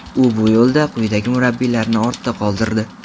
U bu yo‘lda quyidagi murabbiylarni ortda qoldirdi: !